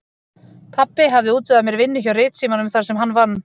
Pabbi hafði útvegað mér vinnu hjá Ritsímanum þar sem hann vann.